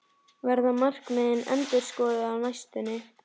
Verða markmiðin endurskoðuð á næstunni?